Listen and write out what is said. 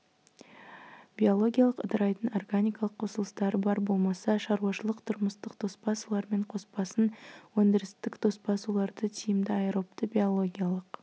биологиялық ыдырайтын органикалық қосылыстары бар болмаса шаруашылық-тұрмыстық тоспа сулармен қоспасын өндірістік тоспа суларды тиімді аэробты биологиялық